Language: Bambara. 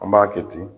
An b'a kɛ ten